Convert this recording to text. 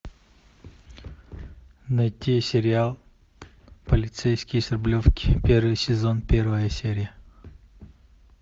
найти сериал полицейский с рублевки первый сезон первая серия